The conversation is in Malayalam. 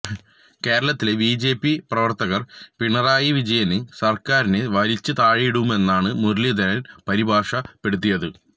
കേരളത്തിലെ ബിജെപി പ്രവര്ത്തകര് പിണറായി വിജയന് സര്ക്കാരിനെ വലിച്ച് താഴെയിടുമെന്നാണ് മുരളീധരന് പരിഭാഷപ്പെടുത്തിയത്